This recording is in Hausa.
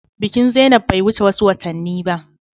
Bikin zainab bai wuce wasu watanni ba.